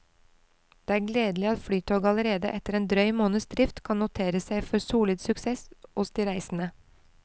Det er gledelig at flytoget allerede etter en drøy måneds drift kan notere seg for solid suksess hos de reisende.